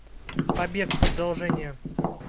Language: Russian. побег продолжение